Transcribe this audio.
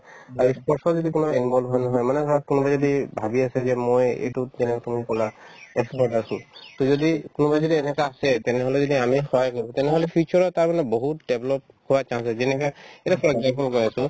আৰু ই sports ৰ যদি তোমাৰ involve হয় নহয় মানে ধৰা কোনোবাই যদি ভাবি আছে যে মই এইটোত যেনেকে তুমি ক'লা athletic আছো to যদি কোনোবাই যদি এনেকুৱা আছে তেনেহ'লে যদি আমি সহায় কৰো তেনেহ'লে future ত অলপ বহুত develop কৰাৰ chance আছে যেনেকে এতিয়া চোৱা